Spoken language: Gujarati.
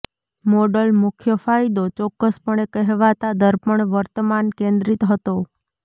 મોડલ મુખ્ય ફાયદો ચોક્કસપણે કહેવાતા દર્પણ વર્તમાન કેન્દ્રિત હતો